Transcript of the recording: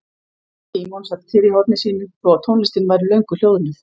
Símon sat kyrr í horni sínu þó að tónlistin væri löngu hljóðnuð.